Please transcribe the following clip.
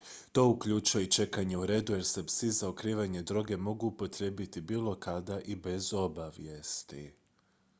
to uključuje i čekanje u redu jer se psi za otkrivanje droge mogu upotrijebiti bilo kada i bez obavijesti